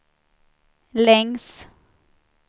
längs